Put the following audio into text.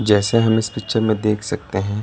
जैसे हम इस पिक्चर में देख सकते हैं --